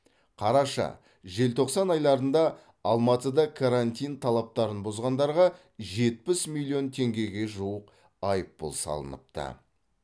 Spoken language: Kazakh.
қараша желтоқсан айларында алматыда карантин талаптарын бұзғандарға жетпіс миллион теңгеге жуық айыппұл салыныпты